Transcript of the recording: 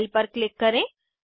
file पर click करें